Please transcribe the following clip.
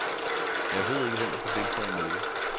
Jeg ved ikke, hvem der skal deltage i mødet.